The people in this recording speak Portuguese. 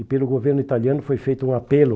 E pelo governo italiano foi feito um apelo